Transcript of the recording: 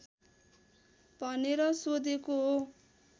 भनेर सोधेको हो